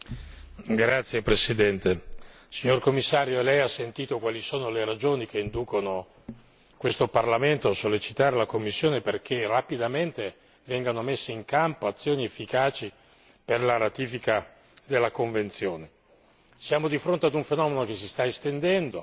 Signor Presidente, onorevoli colleghi, signor Commissario Lei ha sentito quali sono le ragioni che inducono questo Parlamento a sollecitare la Commissione perché rapidamente vengano messe in campo azioni efficaci per la ratifica della convenzione. Siamo di fronte ad un fenomeno che si sta estendendo,